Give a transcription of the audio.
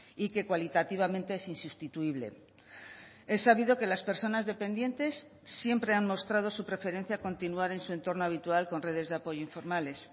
y que cualitativamente es insustituible es sabido que las personas dependientes siempre han mostrado su preferencia a continuar en su entorno habitual con redes de apoyo informales